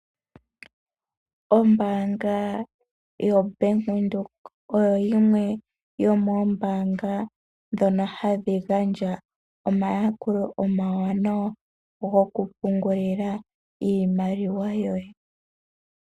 Ombaanga yoBank Windhoek oyo yimwe yomoombaanga ndhono hadhi gandja omayakulo omawanawa gokupungulila iimaliwa yoye.